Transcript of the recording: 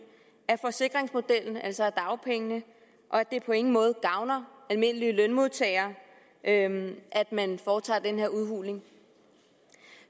af forsikringsmodellen altså af dagpengene og at det på ingen måde gavner almindelige lønmodtagere at man foretager den her udhuling